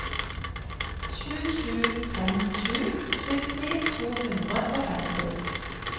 sju sju fem sju sytti to hundre og femti